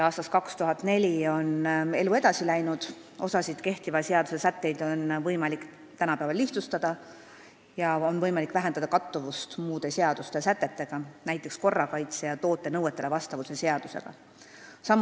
Aastast 2004 on elu edasi läinud, osasid kehtiva seaduse sätteid on võimalik tänapäeval lihtsustada, ka on võimalik vähendada kattuvust muude seaduste, näiteks korrakaitse- ja toote nõuetele vastavuse seaduse sätetega.